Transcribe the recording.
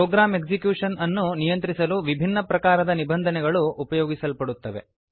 program execution ಅನ್ನು ನಿಯಂತ್ರಿಸಲು ವಿಭಿನ್ನಪ್ರಕಾರದ ನಿಬಂಧನೆಗಳು ಉಪಯೋಗಿಸಲ್ಪಡುತ್ತವೆ